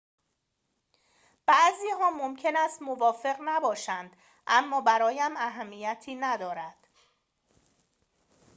بعضی‌ها ممکن است موافق نباشند اما برایم اهمیتی ندارد